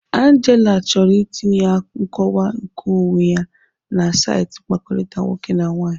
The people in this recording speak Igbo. Angela chọrọ itinye nkọwa nkeonwe ya na saịtị mkpakọrịta nwoke na nwaanyị.